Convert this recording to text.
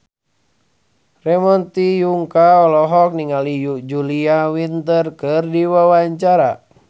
Ramon T. Yungka olohok ningali Julia Winter keur diwawancara